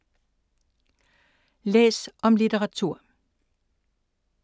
Læs om litteratur